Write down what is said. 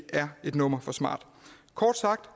er et nummer for smart kort sagt